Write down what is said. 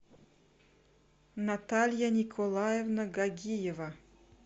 наталья николаевна гогиева